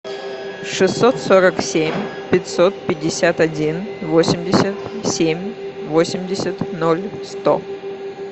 шестьсот сорок семь пятьсот пятьдесят один восемьдесят семь восемьдесят ноль сто